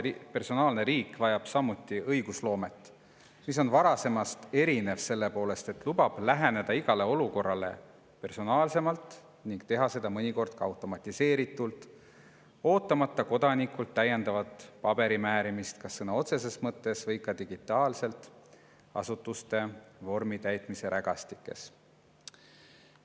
Personaalne riik vajab õigusloomet, mis on varasemast erinev selle poolest, et lubab läheneda igale olukorrale personaalsemalt ning teha seda mõnikord ka automatiseeritult, ootamata kodanikult täiendavat paberimäärimist kas sõna otseses mõttes või ka digitaalselt, asutuste vormitäitmise rägastikes.